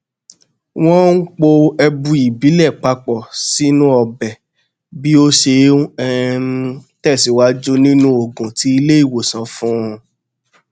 wọn n po ẹbu ìbílẹ papọ sínú ọbẹ bí ó ṣe n um tẹsíwájú nínú òògùn tí ilé ìwòsàn fún un